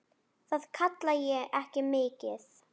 Það kalla ég ekki mikið.